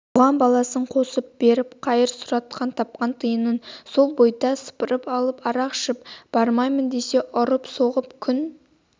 бұған баласын қосып беріп қайыр сұратып тапқан тиынын сол бойда сыпырып алып арақ ішіп бармаймын десе ұрып-соғып күн